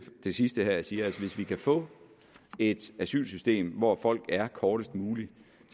det sidste her siger hvis vi kan få et asylsystem hvor folk er kortest muligt